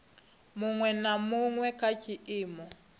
huṅwe na huṅwe kha tshiimo